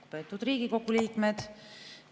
Lugupeetud Riigikogu liikmed!